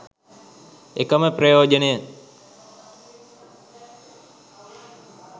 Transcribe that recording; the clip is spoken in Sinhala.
එකම ප්‍රයෝජනය